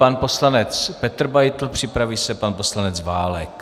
Pan poslanec Petr Beitl, připraví se pan poslanec Válek.